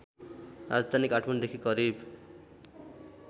राजधानी काठमाडौँदेखि करिब